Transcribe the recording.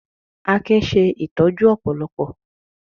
Akin ṣe ìtọ́jú ọ̀pọ̀lọpọ̀